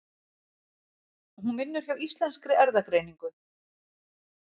Hún vinnur hjá Íslenskri erfðagreiningu.